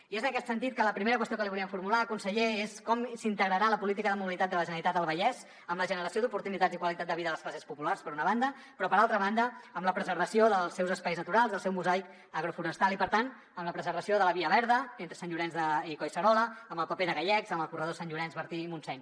i és en aquest sentit que la primera qüestió que li volíem formular conseller és com s’integrarà la política de mobilitat de la generalitat al vallès amb la generació d’oportunitats i qualitat de vida de les classes populars per una banda però per altra banda amb la preservació dels seus espais naturals del seu mosaic agroforestal i per tant amb la preservació de la via verda entre sant llorenç i collserola amb el paper de gallecs amb el corredor sant llorenç bertí i montseny